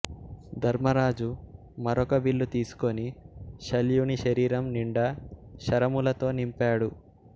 ధర్మరాజు మరొక విల్లు తీసుకుని శల్యునిశరీరం నిండా శరములతో నింపాడు